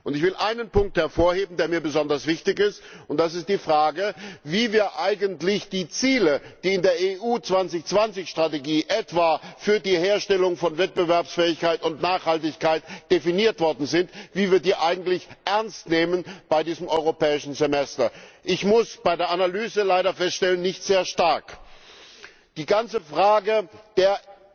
Ich will einen Punkt hervorheben, der mir besonders wichtig ist, nämlich die Frage, wie wir die Ziele, die in der Europa2020 Strategie etwa für die Herstellung von Wettbewerbsfähigkeit und Nachhaltigkeit definiert worden sind, eigentlich ernst nehmen bei diesem Europäischen Semester. Ich muss bei der Analyse leider feststellen nicht allzu stark. Die ganze Frage der